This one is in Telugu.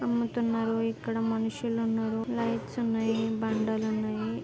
అమ్ముతున్నారు ఇక్కడ మనుషులు ఉన్నారు లైట్స్ ఉన్నాయ్ బండలున్నాయి.